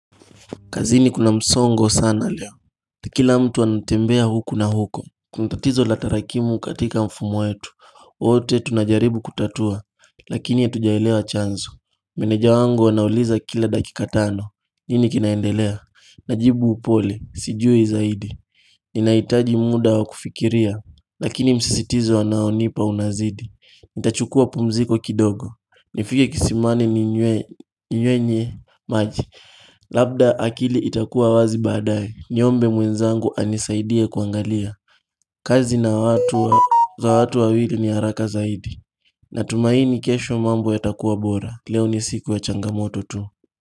Kazini kuna msongo sana leo. Kila mtu anatembea huku na huko. Kuntatizo la tarakimu katika mfumu wetu. Ote tunajaribu kutatua. Lakini hatujaelewa chanzo. Meneja wangu anauliza kila dakika tano. Nini kinaendelea? Najibu upole. Sijui zaidi. Ninaitaji muda wa kufikiria. Lakini msisitizo anaonipa unazidi. Nitachukua pumziko kidogo. Nifike kisimani ninywenye maji. Labda akili itakuwa wazi badae Niombe mwenzangu anisaidie kuangalia kazi na watu wawili ni haraka zaidi Natumaini kesho mambo yatakuwa bora Leo ni siku ya changamoto tu.